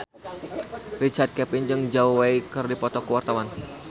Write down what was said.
Richard Kevin jeung Zhao Wei keur dipoto ku wartawan